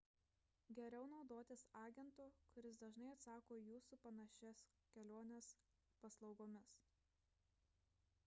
geriau naudotis agento kuris dažnai užsako į jūsų panašias keliones paslaugomis